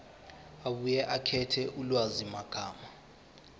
abuye akhethe ulwazimagama